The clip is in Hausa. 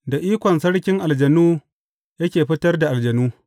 Da ikon sarkin aljanu yake fitar da aljanu.